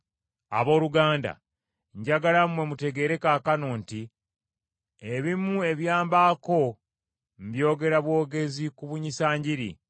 Abooluganda, njagala mmwe mutegeere kaakano nti ebimu ebyambaako byongera bwongezi kubunyisa Njiri,